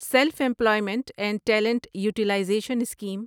self employment and talent utilization scheme